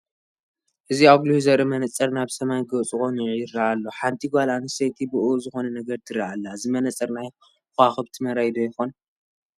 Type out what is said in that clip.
እዚ ኣጒሊሁ ዘርኢ መነፅር ናብ ሰማይ ገፁ ቀኒዑ ይርአ ኣሎ፡፡ ሓንቲ ጓል ኣንስተይቲ ብኡኡ ዝኾነ ነገር ትርኢ ኣላ፡፡ እዚ መነፅር ናይ ከዋኽብቲ መርአዪ ዶ ይኾን?